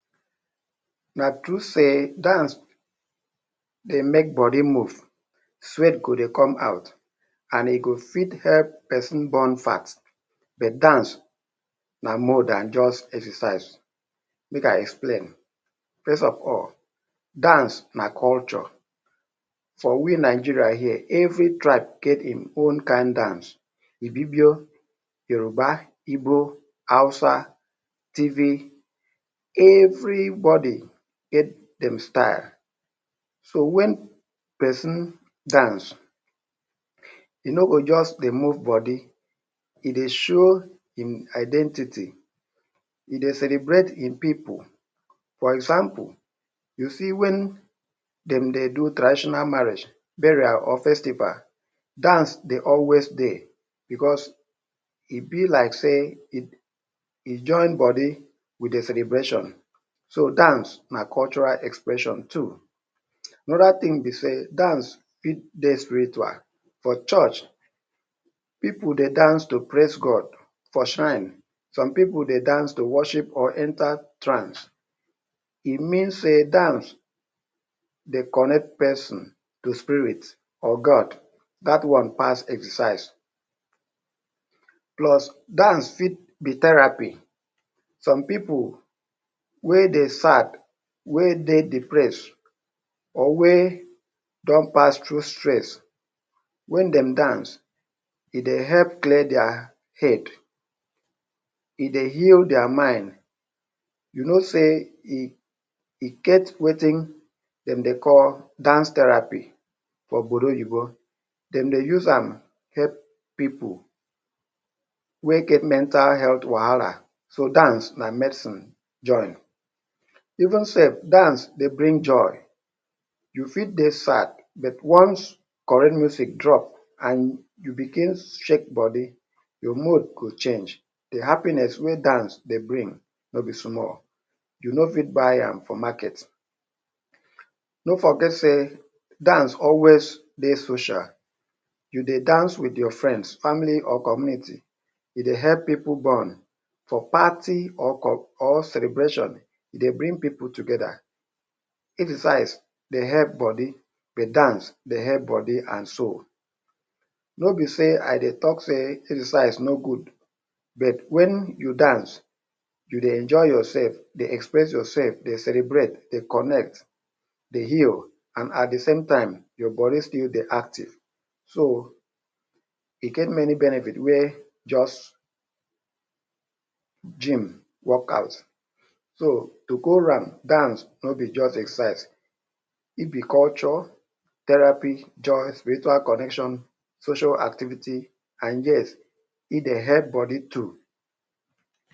Na true sey dance dey make body move, sweat go dey come out, and e go fit help pesin burn fat. But dance na more dan just exercise; make I explain. First of all, dance na culture. For we Nigeria here, every tribe get im own kind dance. Ibibio, Yoruba, Igbo, Hausa, Tiv…everybody get dem style. So when pesin dance, e no go just dey move body, e dey show im identity, dey celebrate im pipu. For example, you see wen dem dey do traditional marriage, burial or festival, dance dey always dey because e be like sey e join body with de celebration. So, dance na cultural expression too. Another thing be sey, dance fit dey spiritual. For church, pipu dey dance to praise God. For shrine, some pipu dey dance to worship or enter trance. E mean sey dance dey connect pesin to spirit or God. Dat one pass exercise. Plus, dance fit be therapy. Some pipu wey dey sad, wey dey depress or wey don pass through stress, wen dem dance, e dey help clear dia head, e dey heal dia mind. You know sey e e get wetin dem dey call ‘dance therapy’ for Obodo Oyibo. Dem dey use am dey help pipu wey get mental health wahala. So, dance na medicine join. Even sef, dance dey bring joy. You fit dey sad, but once correct music drop and you begin shake body, your mood go change. De happiness wey dance dey bring no be small, you no fit buy am for market. No forget sey dance always dey social. You dey dance with your friends, family or community. E dey help pipu bond for party or or celebration, e dey bring pipu together. Exercise dey help body, but dance dey help body and soul. No be sey I dey talk say exercise no good, but when you dance, you dey enjoy yourself, dey express yourself, dey celebrate, dey connect, dey heal and at de same time, your body still dey active. So, e get many benefit wey just gym, workout. So, to go round, dance no be just exercise, e be culture, therapy, joy, spiritual connection, social activity and yes, e dey help body too.